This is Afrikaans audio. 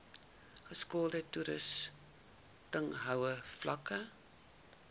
geskoolde toesighouding vlakke